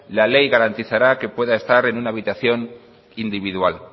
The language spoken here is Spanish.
la ley garantizará que pueda estar en una habitación individual